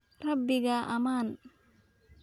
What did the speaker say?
Rabbiga ammaan